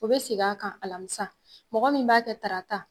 O be seg'a kan alamisa, mɔgɔ min b'a kɛ tarata